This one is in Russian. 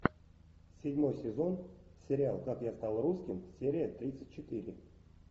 седьмой сезон сериал как я стал русским серия тридцать четыре